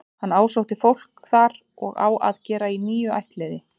Hann ásótti fólk þar og á að gera í níu ættliði.